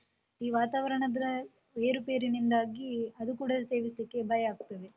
ಈ ವಾತಾವರಣದ ಏರುಪೇರಿಂದಾಗಿ ಅದು ಕೂಡ ಸೇವಿಸ್ಲಿಕ್ಕೆ ಭಯಾಗ್ತದೆ.